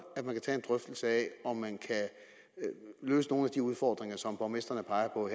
at tage en drøftelse af om man kan løse nogle af de udfordringer som borgmestrene peger på